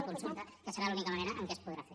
una consulta que serà l’única manera en què es podrà fer